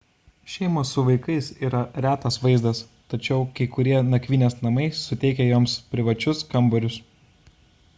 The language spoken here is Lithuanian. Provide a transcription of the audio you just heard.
šeimos su vaikais yra retas vaizdas tačiau kai kurie nakvynės namai suteikia joms privačius kambarius